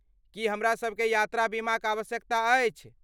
की हमरासभ केँ यात्रा बीमाक आवश्यकता अछि?